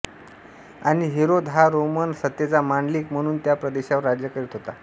आणि हेरोद हा रोमन सत्तेचा मांडलिक म्हणून त्या प्रदेशावर राज्य करीत होता